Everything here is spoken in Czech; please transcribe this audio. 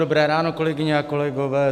Dobré ráno, kolegyně a kolegové.